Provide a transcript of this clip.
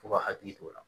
F'u ka hakili to o la